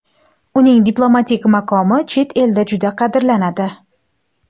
Uning diplomatik maqomi chet elda juda qadrlanadi.